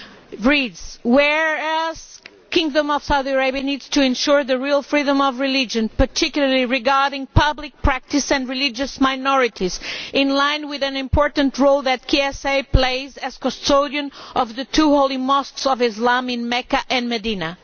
It reads, Whereas the Kingdom of Saudi Arabia needs to ensure the real freedom of religion, particularly regarding public practice and religious minorities, in line with an important role that KSA plays as custodian of the two Holy Mosques of Islam in Mecca and Medina'.